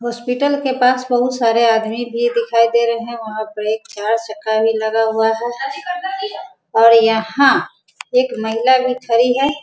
Hospital के पास बहुत सारे आदमी भी दिखाई दे रहे हैं वहाँ पे एक चार-चक्का भी लगा हुआ है और यहाँ एक महिला भी खड़ी है।